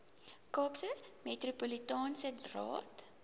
kaapse metropolitaanse raad